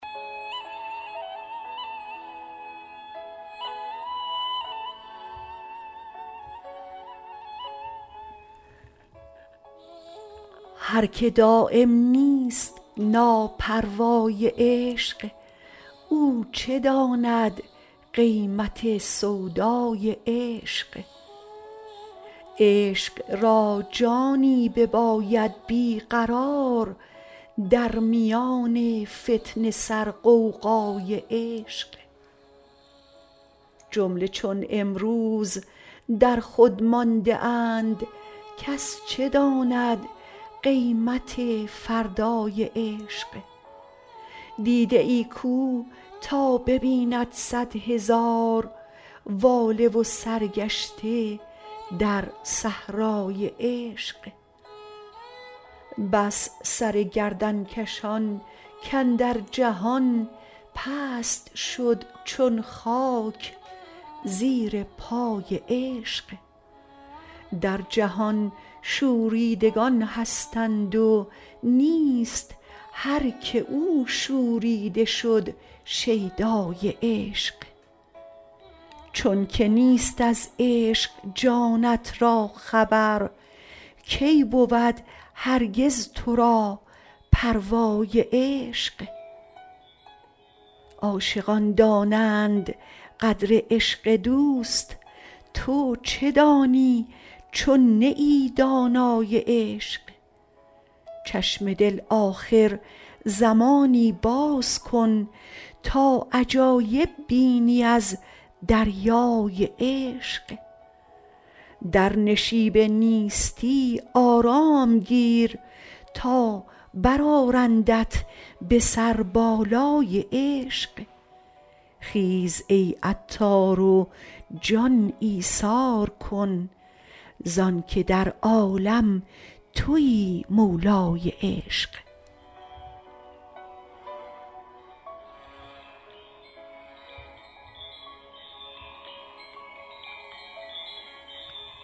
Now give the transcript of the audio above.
هر که دایم نیست ناپروای عشق او چه داند قیمت سودای عشق عشق را جانی بباید بیقرار در میان فتنه سر غوغای عشق جمله چون امروز در خود مانده اند کس چه داند قیمت فردای عشق دیده ای کو تا ببیند صد هزار واله و سرگشته در صحرای عشق بس سر گردنکشان کاندر جهان پست شد چون خاک زیرپای عشق در جهان شوریدگان هستند و نیست هر که او شوریده شد شیدای عشق چون که نیست از عشق جانت را خبر کی بود هرگز تو را پروای عشق عاشقان دانند قدر عشق دوست تو چه دانی چون نه ای دانای عشق چشم دل آخر زمانی باز کن تا عجایب بینی از دریای عشق در نشیب نیستی آرام گیر تا برآرندت به سر بالای عشق خیز ای عطار و جان ایثار کن زانکه در عالم تویی مولای عشق